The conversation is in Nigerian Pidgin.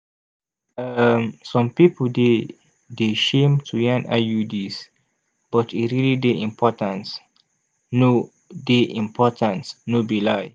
um some pipo dey de shame to yan iuds but e realli dey important no dey important no be lai